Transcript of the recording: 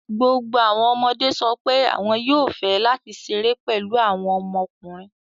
Gbogbo àwọn ọmọdé sọ pé àwọn yóò fẹ́ láti ṣeré pẹ̀lú àwọn ọmọkùnrin